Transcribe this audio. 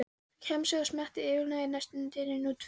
Kjamsið og smjattið yfirgnæfði næstum dyninn úti fyrir.